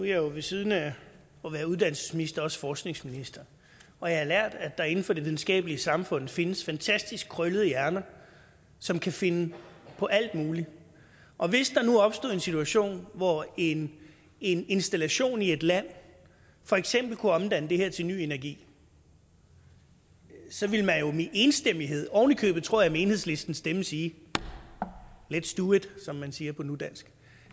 jeg jo ved siden af at være uddannelsesminister også forskningsminister og jeg har lært at der inden for det videnskabelige samfund findes fantastisk krøllede hjerner som kan finde på alt muligt og hvis der nu opstod en situation hvor en en installation i et land for eksempel kunne omdanne det her til ny energi så ville man jo med enstemmighed oven i købet tror jeg med enhedslistens stemmer sige lets do it som man siger på nudansk